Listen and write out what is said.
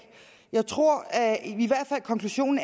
jeg tror at konklusionen